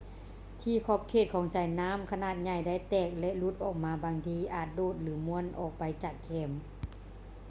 ທີ່ຂອບຂອງສາຍນໍ້າຂະໜາດໃຫຍ່ໄດ້ແຕກ ແລະ ຫຼຸດອອກມາບາງທີອາດໂດດ ຫຼື ມ້ວນອອກໄປຈາກແຄມ